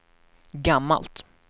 gammalt